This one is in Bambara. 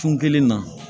Kun kelen na